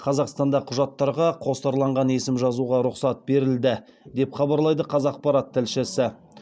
қазақстанда құжаттарға қосарланған есім жазуға рұқсат берілді деп хабарлайды қазақпарат тілшісі